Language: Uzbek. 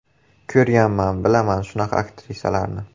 Ko‘rganman, bilaman shunaqa aktrisalarni.